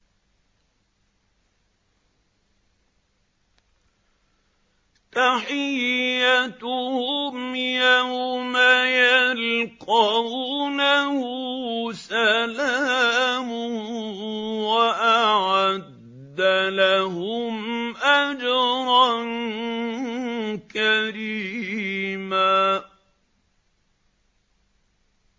تَحِيَّتُهُمْ يَوْمَ يَلْقَوْنَهُ سَلَامٌ ۚ وَأَعَدَّ لَهُمْ أَجْرًا كَرِيمًا